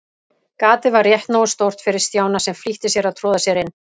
Gatið var rétt nógu stórt fyrir Stjána, sem flýtti sér að troða sér inn.